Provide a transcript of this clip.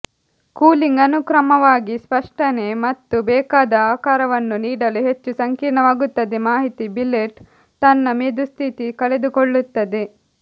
cooling ಅನುಕ್ರಮವಾಗಿ ಸ್ಪಷ್ಟನೆ ಮತ್ತು ಬೇಕಾದ ಆಕಾರವನ್ನು ನೀಡಲು ಹೆಚ್ಚು ಸಂಕೀರ್ಣವಾಗುತ್ತದೆ ಮಾಹಿತಿ ಬಿಲೆಟ್ ತನ್ನ ಮೆದುಸ್ಥಿತಿ ಕಳೆದುಕೊಳ್ಳುತ್ತದೆ